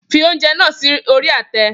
Fi oúnjẹ náà sí orí àtẹ